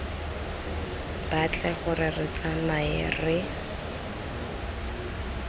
batle gore re tsamae re